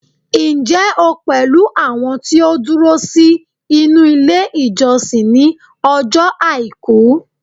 njé o pẹlú àwọn ti o duro sí inú ilé ìjósìn ni ojo aiku